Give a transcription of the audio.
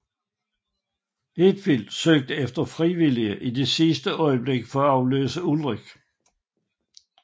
Hetfield søgte efter frivillige i sidste øjeblik for at afløse Ulrich